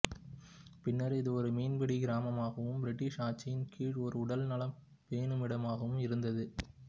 பின்னர் இது ஒரு மீன்பிடி கிராமமாகவும் பிரிட்டிஷ் ஆட்சியின் கீழ் ஒரு உடல் நலம் பேணுமிடமாகவும் இருந்தது